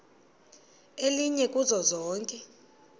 elinye kuzo zonke